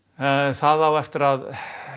það á eftir að